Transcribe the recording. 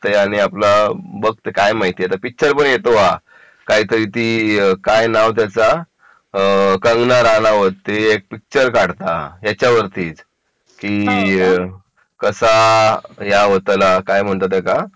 बघते आता काय माहिती भावा आता पिक्चर पण येतो काहीतरी ती काय नाव त्याचा कंगना राणावत ते एक पिक्चर काढता याच्यावरतीच की कसा या होतला काय म्हणता त्या का